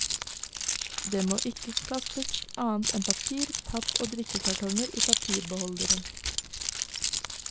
Det må ikke kastes annet enn papir, papp og drikkekartonger i papirbeholderen.